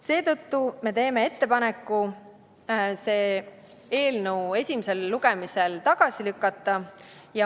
Seetõttu teeme ettepaneku see eelnõu esimesel lugemisel tagasi lükata.